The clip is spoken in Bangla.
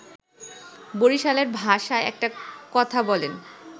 বরিশালের ভাষায় একটা কথা বলেন